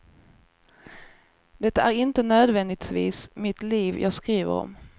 Det är inte nödvändigtvis mitt liv jag skriver om.